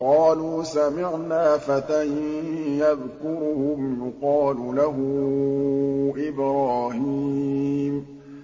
قَالُوا سَمِعْنَا فَتًى يَذْكُرُهُمْ يُقَالُ لَهُ إِبْرَاهِيمُ